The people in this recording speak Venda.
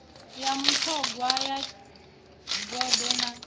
ya vhuṱhogwa ya gondo na